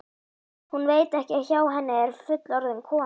Hún veit ekki að hjá henni er fullorðin kona.